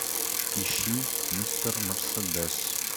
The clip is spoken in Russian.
ищи мистер мерседес